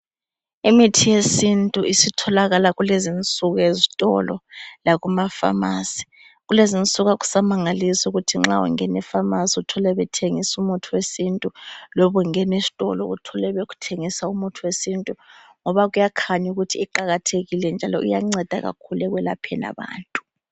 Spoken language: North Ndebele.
Imithi yesintu isitholakala kulezinsuku ezitolo lakumafamasi. Kulezinsuku akusamangalisi ukuthi nxa ungenefamasi uthole bethengisa umuthi wesintu loba ungenesitolo uthole bethengisa umuthi wesintu ngoba kuyakhanya ukuthi iqakathekile njalo iyanceda kakhulu ekwelapheni abantu.